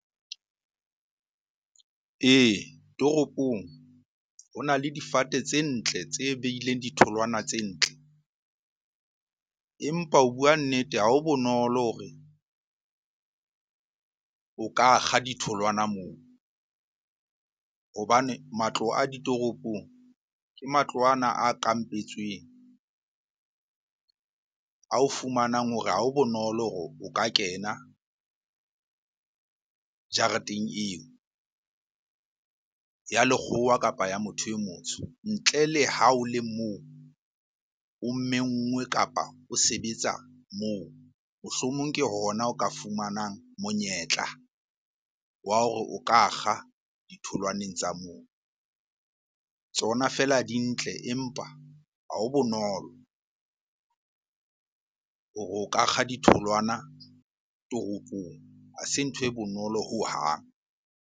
Ee, toropong ho na le difate tse ntle tse behileng ditholwana tse ntle. Empa ho bua nnete ha ho bonolo hore o ka kga ditholwana moo hobane matlo a ditoropong ke matlo ana a kampetsweng. Ao fumanang hore ha ho bonolo hore o ka kena jareteng eo ya lekgowa, kapa ya motho e motsho. Ntle le ha o le moo o mmengwe, kapa o sebetsa moo. Mohlomong ke hona o ka fumanang monyetla wa hore o ka kga ditholwaneng tsa moo. Tsona fela di ntle, empa ha ho bonolo hore o ka kga ditholwana toropong. Ha se ntho e bonolo hohang.